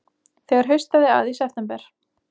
Þegar haustaði að í september